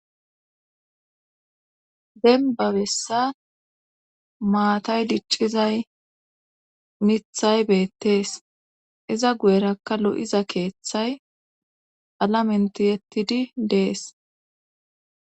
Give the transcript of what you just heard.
Dembabessa maatay diccizay mithay beettees iza guyerakka lo'iza keeththay alamenti yettidi dees.